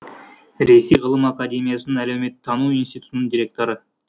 ресей ғылым академиясының әлеуметтану институтының директоры